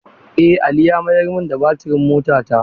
Eh Ali ya mayar min da batirin motata.